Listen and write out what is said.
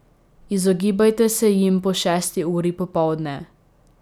Izogibajte se jim po šesti uri popoldne.